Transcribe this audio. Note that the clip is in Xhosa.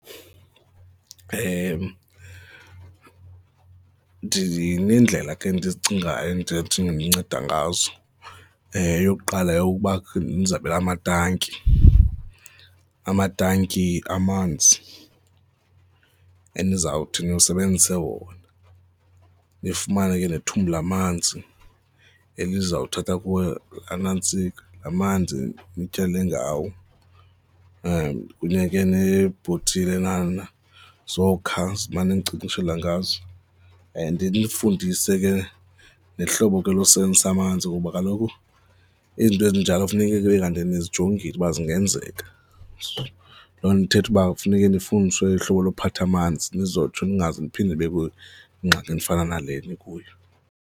Ndineendlela ke endizicingayo endinothi ndncede ngazo, eyokuqala yeyokuba amatanki, amatanki, amanzi enizawuthi nisebenzise wona. Nifumane ke nethumbu lamanzi eli zawuthatha kuwe anantsika lamanzi nityale ngawo and kufuneka neebhotilenyana zokha zinimane ninkcenkceshela ngazo, ndifundise ke nehlobo ke losebenzisa amanzi kuba kaloku izinto ezinjalo funeke kube kanti nizijongile uba zingenzeka. Loo nto ithetha uba kufuneke sifundiswe uhlobo lokuphatha amanzi nizotsho ningaze niphinde nibe kuyo ingxaki efana nale nikuyo.